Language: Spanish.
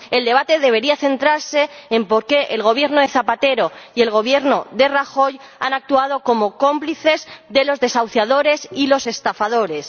El debate debería centrarse en por qué el Gobierno de Zapatero y el Gobierno de Rajoy han actuado como cómplices de los desahuciadores y los estafadores